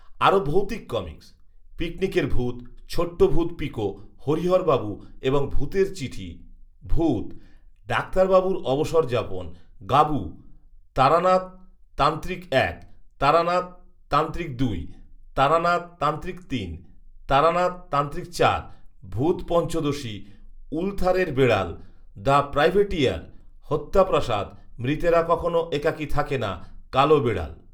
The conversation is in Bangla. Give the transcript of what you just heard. আরো ভৌতিক কমিক্‌স; পিকনিকের ভূত , ছোট্ট ভূত পিকো, হরিহরবাবু এবং ভূতের চিঠি, ভূত, ডাক্তারবাবুর অবসরযাপন, গাবু, তারানাথ তান্ত্রিক এক, তারানাথ তান্ত্রিক দুই, তারানাথ তান্ত্রিক তিন, তারানাথ তান্ত্রিক চার, ভূতপঞ্চদশী , উলথারের বেড়াল, দ্য প্রাইভেটিয়ার, হত্যা প্রাসাদ, মৃতেরা কখনো একাকি থাকে না, কালো বেড়াল